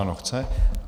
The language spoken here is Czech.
Ano, chce.